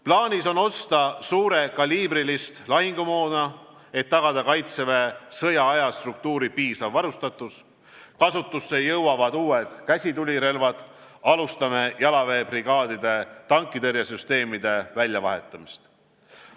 Plaanis on osta suurekaliibrilist lahingumoona, et tagada Kaitseväe sõjaaja struktuuri piisav varustatus, kasutusse jõuavad uued käsitulirelvad, alustame jalaväebrigaadide tankitõrjesüsteemide väljavahetamist.